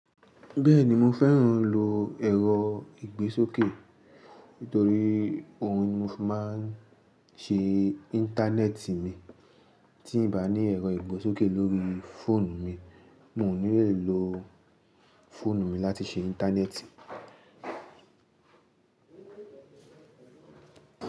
Bẹ́ẹ̀ni mó fẹ́ràn lò ẹ̀rọ ìgbésókè, nítorí òhún ní mó fí máa ń ṣe Íńtánẹ́ẹ̀tì mi. Tí n bá ní ẹ̀rọ ìgbésókè lórí fóònù mí, mó ò ní lè lo fóònù mi láti ṣe Íńtánẹ́ẹ̀tì.